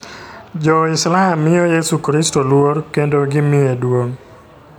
Jo-Islam miyo Yesu Kristo luor kendo gimiye duong'.